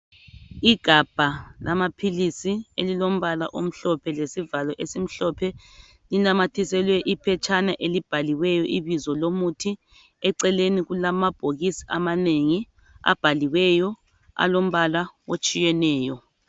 Igabha lamaphilisi elilombala omhlophe lesivalo esimhlophe linamathiselwe iphetshana elibhaliweyo ibizo lomuthi. Eceleni kulamabhokisi amanengi abhaliweyo alombala otshiyeneyo.